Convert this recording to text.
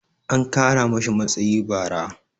an Kara mashi matsayi bara